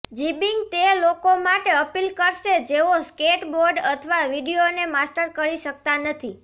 જિબિંગ તે લોકો માટે અપીલ કરશે જેઓ સ્કેટબોર્ડ અથવા વિડિઓને માસ્ટર કરી શકતા નથી